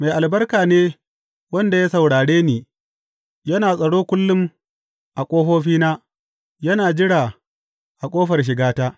Mai albarka ne wanda ya saurare ni; yana tsaro kullum a ƙofofina, yana jira a ƙofar shigata.